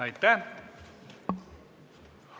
Aitäh!